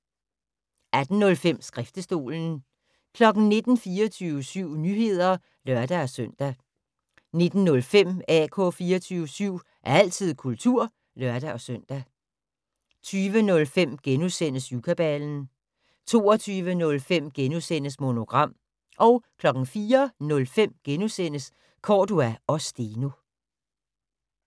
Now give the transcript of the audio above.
18:05: Skriftestolen 19:00: 24syv Nyheder (lør-søn) 19:05: AK 24syv - altid kultur (lør-søn) 20:05: Syvkabalen * 22:05: Monogram * 04:05: Cordua & Steno *